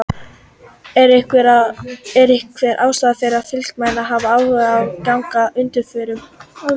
Er einhver ástæða fyrir Fylkismenn að hafa áhyggjur af genginu að undanförnu?